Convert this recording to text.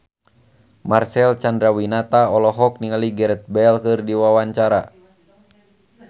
Marcel Chandrawinata olohok ningali Gareth Bale keur diwawancara